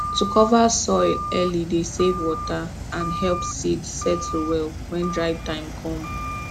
to cover soil early dey save water and help seed settle well when dry time com